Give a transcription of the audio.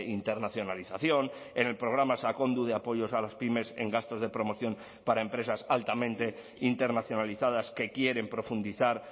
internacionalización en el programa sakondu de apoyos a las pymes en gastos de promoción para empresas altamente internacionalizadas que quieren profundizar